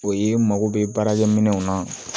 O ye mago bɛ baarakɛ minɛw na